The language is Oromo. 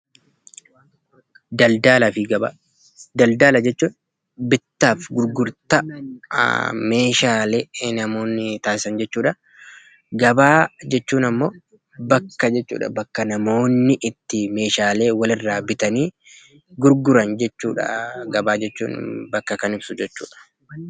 Daldalaa fi gabaa Daldalaa jechuun bittaa fi gurgurtaa meeshaalee namoonni taasisan jechuudha. Gabaa jechuun ammoo bakka jechuudha. Bakka namoonni itti meeshaalee wal irraa bitanii gurguran jechuudha. Gabaa jechuun bakka kan ibsu jechuudha.